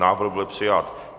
Návrh byl přijat.